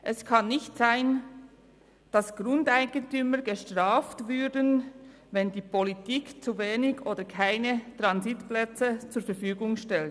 Es kann nicht sein, dass Grundeigentümer bestraft werden, wenn die Politik zu wenige oder keine Transitplätze zur Verfügung stellt.